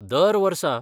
दर वर्सा